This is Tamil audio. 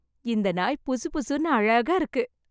இந்த நாய் புசுபுசுன்னு அழகா இருக்கு.